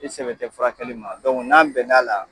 I sɛbɛ tɛ furakɛli ma n'an bɛn na la